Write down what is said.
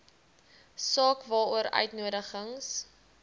saak waaroor uitnodigings